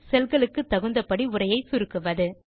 செல் க்கு தகுந்தபடி உரையை சுருக்குவது